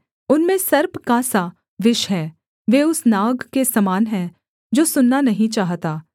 उनमें सर्प का सा विष है वे उस नाग के समान है जो सुनना नहीं चाहता